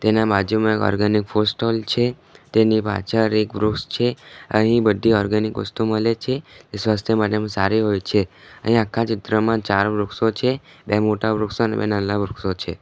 એના બાજુમાં એક ઓર્ગેનિક ફૂડ સ્ટોલ છે તેની પાછર એક વૃક્ષ છે અહીં બધી ઓર્ગેનિક વસ્તુ મલે છે એ સ્વાસ્થ્ય માટે એમ સારી હોય છે અને અહીં આખા ચિત્રમાં ચાર વૃક્ષો છે બે મોટા વૃક્ષો ને બે નાલ્લા વૃક્ષો છે.